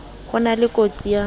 ho na le kotsi ya